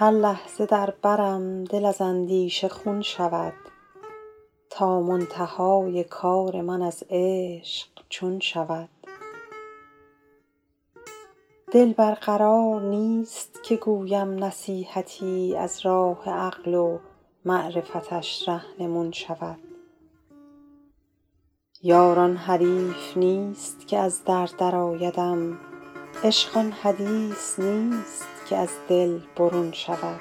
هر لحظه در برم دل از اندیشه خون شود تا منتهای کار من از عشق چون شود دل بر قرار نیست که گویم نصیحتی از راه عقل و معرفتش رهنمون شود یار آن حریف نیست که از در درآیدم عشق آن حدیث نیست که از دل برون شود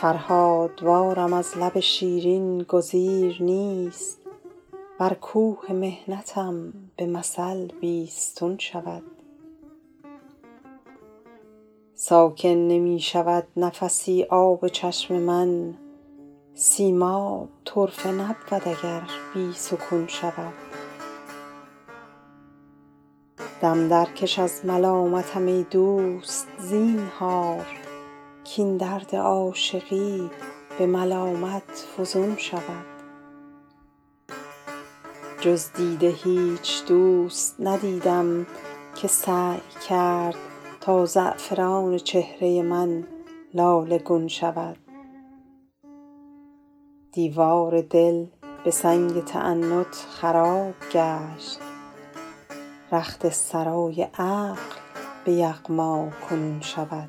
فرهادوارم از لب شیرین گزیر نیست ور کوه محنتم به مثل بیستون شود ساکن نمی شود نفسی آب چشم من سیماب طرفه نبود اگر بی سکون شود دم درکش از ملامتم ای دوست زینهار کاین درد عاشقی به ملامت فزون شود جز دیده هیچ دوست ندیدم که سعی کرد تا زعفران چهره من لاله گون شود دیوار دل به سنگ تعنت خراب گشت رخت سرای عقل به یغما کنون شود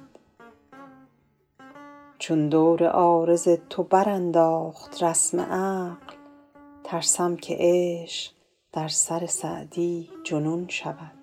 چون دور عارض تو برانداخت رسم عقل ترسم که عشق در سر سعدی جنون شود